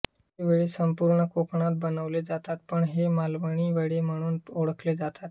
हे वडे संपूर्ण कोकणात बनवले जातात पण हे मालवणी वडे म्हणून पण ओळखले जातात